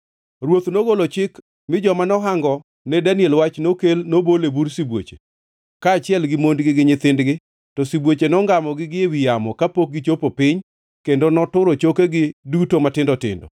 Ruoth nogolo chik, mi joma nohango ne Daniel wach nokel nobol e bur sibuoche, kaachiel gi mondgi gi nyithindgi. To sibuoche nongamogi gi ewi yamo kapok gichopo piny, kendo noturo chokegi duto matindo tindo.